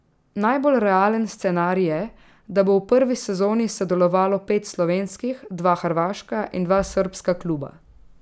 Najbolj realen scenarij je, da bo v prvi sezoni sodelovalo pet slovenskih, dva hrvaška in dva srbska kluba.